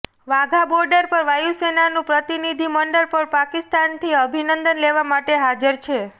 વાઘા border પર વાયુસેનાનું પ્રતિનિધિ મંડળ પણ પાકિસ્તાનથી અભિનંદનને લેવા માટે હાજર છે